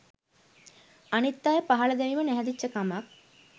අනිත් අය පහල දැමීම නැහැදිච්ච කමක්.